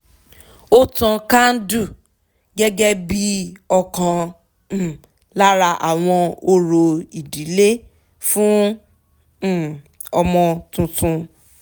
ó tan káńdú gẹ́gẹ́ bí ọ̀kan um lára àwọn orò ìdílé fún um ọmọ tuntun